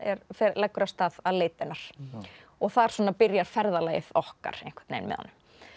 leggur af stað að leita hennar og þar byrjar ferðalagið okkar með honum